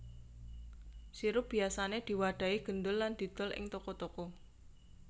Sirup biyasané diwadhahi gendul lan didol ing toko toko